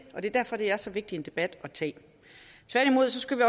og det er derfor det er så vigtig en debat at tage tværtimod skal vi